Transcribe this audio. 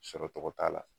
Sɔrɔ tɔgɔ t'a la